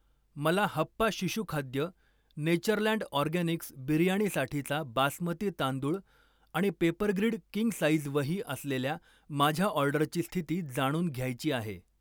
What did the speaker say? मला हप्पा शिशु खाद्य, नेचरलँड ऑर्गॅनिक्स बिर्याणीसाठीचा बासमती तांदूळ आणि पेपरग्रिड किंग साइज वही असलेल्या माझ्या ऑर्डरची स्थिती जाणून घ्यायची आहे.